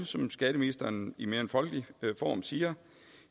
som skatteministeren i en mere folkelig form siger